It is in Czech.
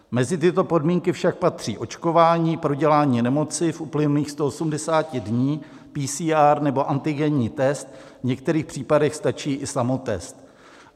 Mezi tyto podmínky však patří očkování, prodělání nemoci v uplynulých 180 dnech, PCR nebo antigenní test, v některých případech stačí i samotest.